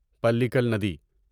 پلیکل ندی